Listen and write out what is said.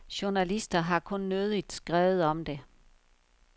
Journalister har kun nødigt skrevet om det.